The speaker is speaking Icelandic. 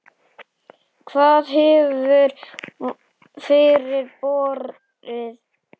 Hvað hefur fyrir borið?